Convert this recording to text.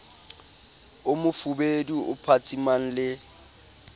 o mofubedu o phatsimang le